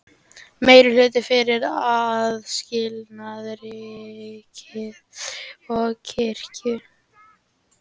Meirihluti fyrir aðskilnaði ríkis og kirkju